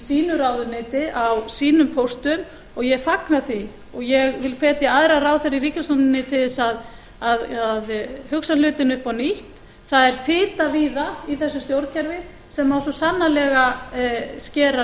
sínu ráðuneyti á sínum póstum og ég fagna því og ég vil hvetja aðra ráðherra í ríkisstjórninni til þess að hugsa hlutina upp á nýtt það er fita í það í þessu stjórnkerfi sem á svo sannarlega að skera